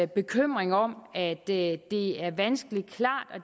bekymring om at det det er vanskeligt klart